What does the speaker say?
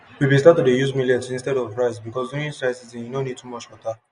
we been start to dey use millet instead of rice because during dry season e no need too much water